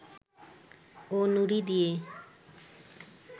ও নুড়ি দিয়ে